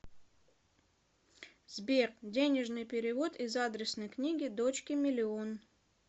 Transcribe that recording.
сбер денежный перевод из адресной книги дочке миллион